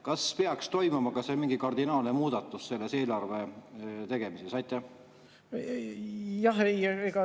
Kas peaks toimuma mingi kardinaalne muudatus eelarve tegemises?